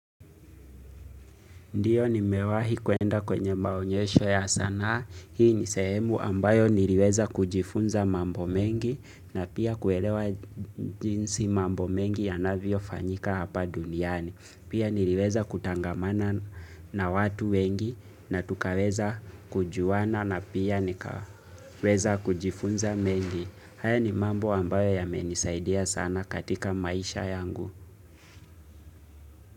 Ndiyo nimewahi kuenda kwenye maonyesho ya sanaa. Hii ni sehemu ambayo niliweza kujifunza mambo mengi na pia kuelewa jinsi mambo mengi yanavyofanyika hapa duniani. Pia niliweza kutangamana na watu wengi na tukaweza kujuana na pia nikaweza kujifunza mengi. Haya ni mambo ambayo yamenisaidia sana katika maisha yangu.